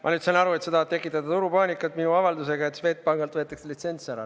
Ma nüüd saan aru, et sa tahad tekitada turupaanikat minu avaldusega, et Swedbankilt võetakse litsents ära.